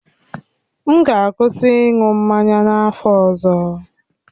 M ga-akwụsị ịṅụ mmanya n'afọ ọzọ.